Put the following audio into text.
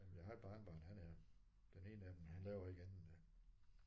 Jamen jeg har et barnebarn han er. Den ene af dem han laver ikke andet end det